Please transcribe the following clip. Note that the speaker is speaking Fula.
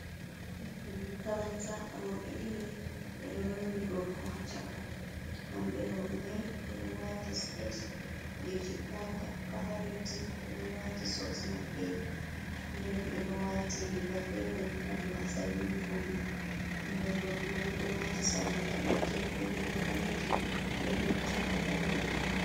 Makaranta roɓe ɗiɗi ɓe ɗo lumbi gorko ha ccaka hambe roɓe mai ɓe ɗo wati skete jeji kala leddi, be ɗo wati soks maɓɓe nden be do watiri gafere hado asalin yunifom mabbe ɓingal gorko mai ɗo wati salla balejum beri GA danejum be nettai hadande mako.